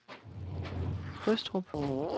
Frøstrup